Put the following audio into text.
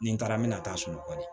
Ni n taara n bɛna taa sunɔgɔli